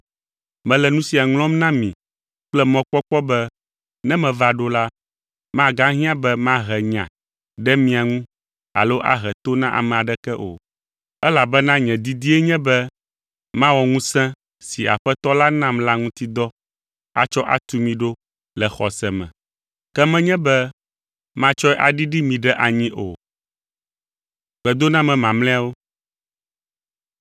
Mele nu sia ŋlɔm na mi kple mɔkpɔkpɔ be ne meva ɖo la, magahiã be mahe nya ɖe mia ŋu alo ahe to na ame aɖeke o, elabena nye didie nye be mawɔ ŋusẽ si Aƒetɔ la nam la ŋuti dɔ atsɔ atu mi ɖo le xɔse me. Ke menye be matsɔe aɖiɖi mi ɖe anyi o.